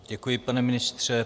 Děkuju, pane ministře.